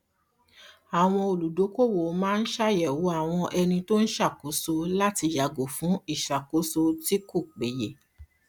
àwọn olùdókòwò máa ń ṣàyẹwò àwọn ẹni tó ń ṣàkóso láti yàgò fún ìṣàkóso tí kò péye